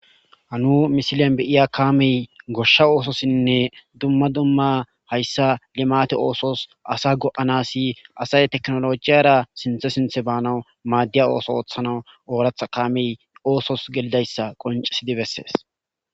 Ha nu misiliyan be'iya kamey goshsha ososinne duma duma haysa limate osos asa go'anas asay teknolojiyara sinthe sinthe banawu madiya oso otanawu oratha kamey osos gelidaysa qonc'isidi beses.